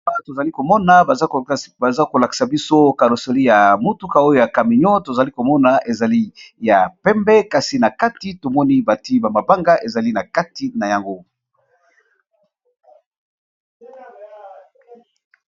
Awa, tozali komona baza kolakisa biso karoseri ya motuka oyo ! ya camion tozali komona ezali ya pembe kasi na kati tomoni bati bamabanga ezali na kati na yango.